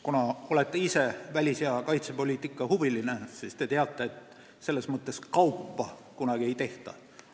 Kuna te olete suur välis- ja kaitsepoliitika huviline, siis te teate, et sellist kaupa kunagi ei tehta.